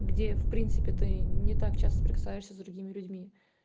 где в принципе ты не так часто сопрекасаешься с другими людьми